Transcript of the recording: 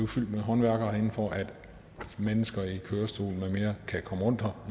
fyldt med håndværkere herinde for at mennesker i kørestol kan komme rundt her